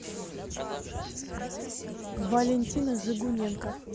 валентина жигуненко